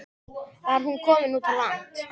Var hún komin út á land?